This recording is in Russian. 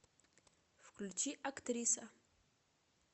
включи актриса